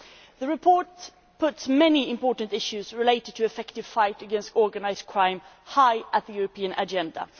The report puts many important issues related to the effective fight against organised crime high on the European agenda.